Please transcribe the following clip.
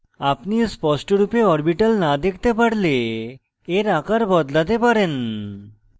আপনি স্পষ্টরূপে orbital in দেখতে পারলে in আকার বদলাতে পারেন